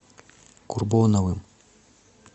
курбоновым